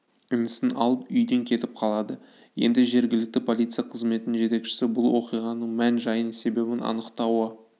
інісін алып үйден кетіп қалады енді жергілікті полиция қызметінің жетекшісі бұл оқиғаның мән-жайын себебін анықтауы